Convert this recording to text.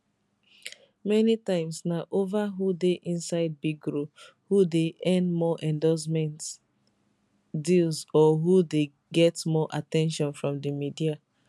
many times na ova who dey inside big role who dey earn more endorsement deals or who dey get more at ten tion from di media